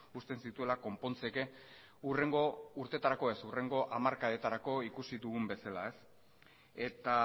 uzten zituela konpontzeke hurrengo urtetarako ez hurrengo hamarkadetarako ikusi dugun bezala eta